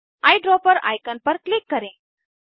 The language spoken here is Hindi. आईड्रॉपर आइकन पर क्लिक करें